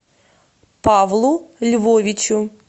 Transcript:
павлу львовичу